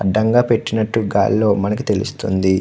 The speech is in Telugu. అడ్డంగా పెట్టినట్టు గాలి లో మనకి తెల్లుస్తుంది.